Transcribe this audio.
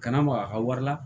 Kana maga a ka wari la